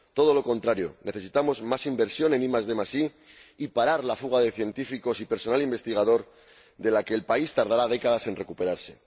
Todo lo contrario, necesitamos más inversión en IDi y parar la fuga de científicos y personal investigador, de la que el país tardará décadas en recuperarse.